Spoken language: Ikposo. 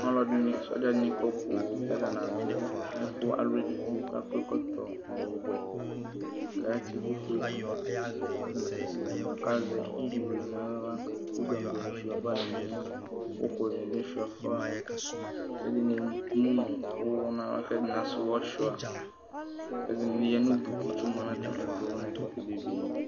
Alʋ ɛdini sɔdzani kɔ poo kʋ adʋ ɛkʋ alʋ edigbo akɔ ɛkɔtɔ ɔwɛ kʋ atsi ɛkʋfue dʋ kʋ atani asɛsɛ kʋ azɛ ilie nʋ aɣla kʋ gagoni suia fanʋ ɛlʋ uku ni bi suia fa kʋ ɛdini emʋnʋ ʋwɔ nʋ ava kʋ ɛdini asɛ ʋwɔ suia ɛdini yanʋ atami idʋ kʋ nʋ ɛkʋtɛ bebeni